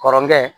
Kɔrɔkɛ